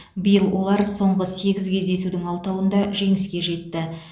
биыл олар соңғы сегіз кездесудің алтауында жеңіске жетті